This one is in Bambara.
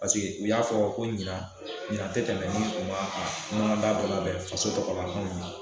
Paseke u y'a fɔ ko ɲina ɲina te tɛmɛ ni u ma a ɲɔgɔndan dɔ labɛn faso tɔgɔ la anw ye